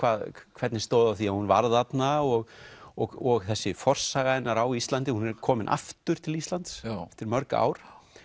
hvernig stóð á því að hún var þarna og og og þessi forsaga hennar á Íslandi hún er komin aftur til Íslands eftir mörg ár